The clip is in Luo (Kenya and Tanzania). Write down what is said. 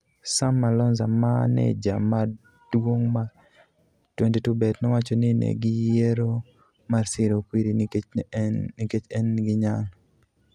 Sam Malonza, maneja maduong' mar 22Bet nowacho ni ne giyiero mar siro Okwiri nikech en gi nyalo.